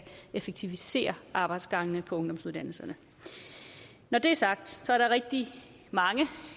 effektivisere arbejdsgangene på ungdomsuddannelserne når det er sagt er der rigtig mange